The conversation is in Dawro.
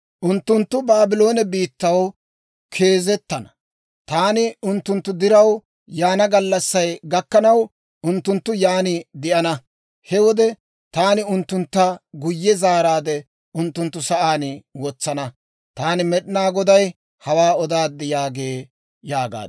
‹Unttunttu Baabloone biittaw keezettana; taani unttunttu diraw yaana gallassay gakkanaw, unttunttu yaan de'ana. He wode taani unttuntta guyye zaaraadde unttunttu sa'aan wotsana. Taani Med'inaa Goday hawaa odaad› yaagee» yaagaad.